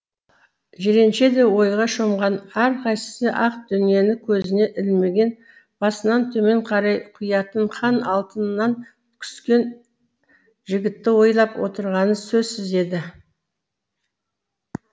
жиренше де ойға шомған әрқайсысы ақ дүниені көзіне ілмеген басынан төмен қарай құятын хан алтынынан күскен жігітті ойлап отырғаны сөзсіз еді